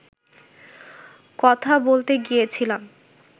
কথা বলতে গিয়েছিলাম